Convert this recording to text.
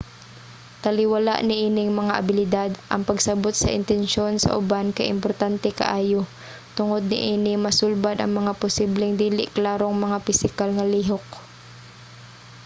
taliwala niining mga abilidad ang pagsabot sa intensyon sa uban kay importante kaayo. tungod niini masulbad ang mga posibleng dili klarong mga pisikal nga lihok